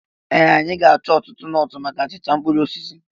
Ee! Anyị ga-achọ ọtụtụ nọọtụ maka achịcha mkpụrụ osisi.